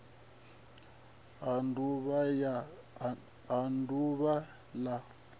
ha d uvha l a